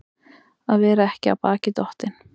Að vera ekki af baki dottinn